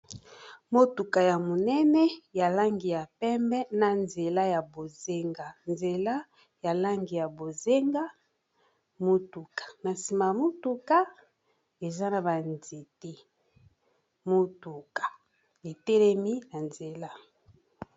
Motuka ya monene ya langi ya pembe na nzela ya bozenga nzela ya langi ya bozenga motuka na nsima motuka eza na banzete motuka etelemi na nzela.